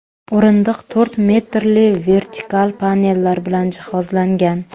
O‘rindiq to‘rt metrli vertikal panellar bilan jihozlangan.